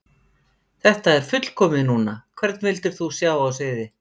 Þetta er fullkomið núna Hvern vildir þú sjá á sviði?